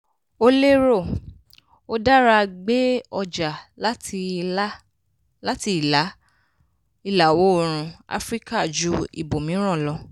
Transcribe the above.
ó lérò: ó dára gbé ọjà láti ìlà-oòrùn áfíríkà ju ibòmíràn lọ.